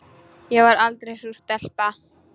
Ég var aldrei sú stelpa.